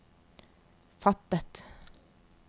fattet